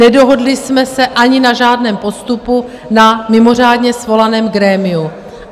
Nedohodli jsme se ani na žádném postupu na mimořádně svolaném grémiu.